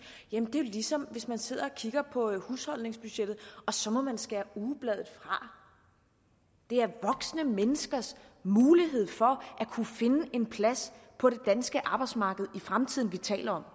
jamen det ligesom hvis man sidder og kigger på husholdningsbudgettet og så må man skære ugebladet fra det er voksne menneskers mulighed for at kunne finde en plads på det danske arbejdsmarked i fremtiden vi taler om